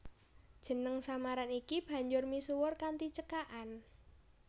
Jeneng samaran iki banjur misuwur kanthi cekakan